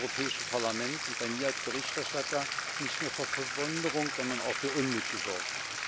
Das hat im Europäischen Parlament und bei mir als Berichterstatter nicht nur für Verwunderung, sondern auch für Unmut gesorgt.